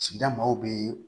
Sigida maaw be